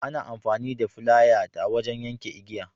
Ana amfani da flaya ta wajen yakan igiya.